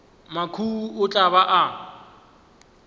mathuhu o tla ba a